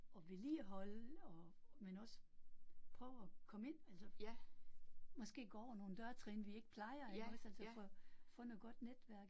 Og vedligeholde og men også prøve at komme ind altså. Måske gå over nogle dørtrin vi ikke plejer iggås altså for få noget godt netværk